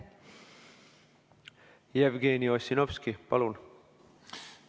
Jevgeni Ossinovski, palun!